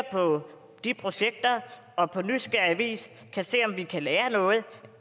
på de projekter og på nysgerrig vis ser om vi kan lære noget